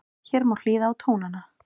Hér má hlýða á tónana